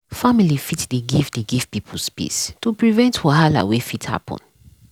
family fit dey give dey give people space to prevent wahala wey fit happen.